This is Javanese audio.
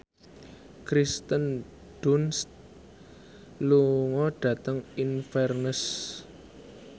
Kirsten Dunst lunga dhateng Inverness